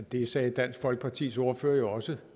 det sagde dansk folkepartis ordfører også